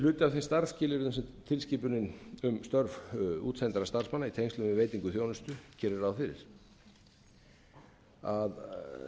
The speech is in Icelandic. af þeim starfsskilyrðum sem tilskipunin um störf útsendra starfsmanna í tengslum við veitingu þjónustu gerir ráð fyrir að